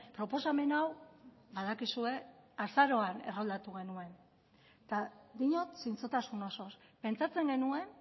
proposamen hau badakizue azaroan erroldatu genuen eta diot zintzotasun osoz pentsatzen genuen